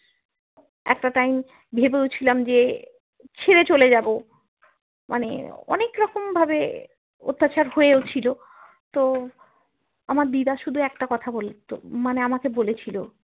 একটা time ভেবেও ছিলাম যে ছেড়ে চলে যাবো মানে অনেক রকম ভাবে অত্যাচার হয়েও ছিল তো আমার দিদা শুধু একটা কথা বলতো মানে আমাকে বলেছিলো